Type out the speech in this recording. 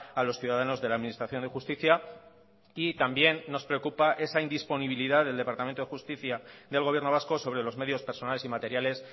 a los ciudadanos de la administración de justicia y también nos preocupa esa indisponibilidad del departamento de justicia del gobierno vasco sobre los medios personales y materiales